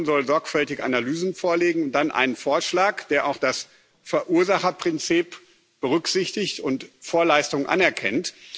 Die Kommission soll sorgfältige Analysen vorlegen und dann einen Vorschlag, der auch das Verursacherprinzip berücksichtigt und Vorleistungen anerkennt.